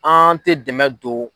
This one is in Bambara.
An tɛ dɛmɛ don.